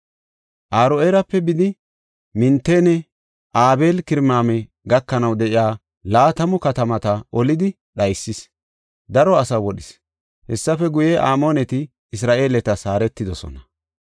Aro7eerape bidi Minitanne Abeel-Kiramima gakanaw de7iya laatamu katamata olidi dhaysis; daro asaa wodhis. Hessafe guye, Amooneti Isra7eeletas haaretidosona.